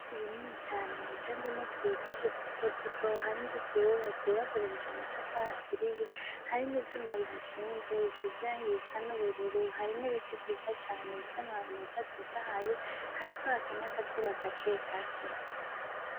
Ibiti bikini cane bicanzemwo utubuye twinshi duto duto, hari inzu zihubatse bakoresheje amatafari aturiye, hari n'ivyuma bihashinze, bisize irangi risa n'ubururu, hari n'ibiti vyiza cane bifise amababi meza atotahaye, hariko haka n'akazuba gake gake.